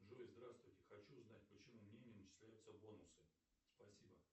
джой здравствуйте хочу узнать почему мне не начисляются бонусы спасибо